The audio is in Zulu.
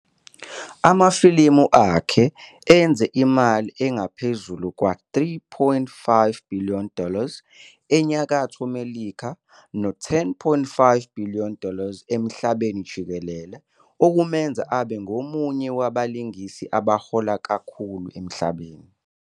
Amafilimu akhe enze imali engaphezu kwama-3.5 billion dollars eNyakatho Melika nase-10.5 billion dollars emhlabeni jikelele, okumenza abe ngomunye wabalingisi abahola kakhulu emhlabeni.